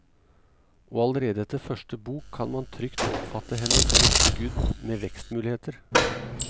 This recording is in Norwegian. Og allerede etter første bok kan man trygt oppfatte henne som et skudd med vekstmuligheter.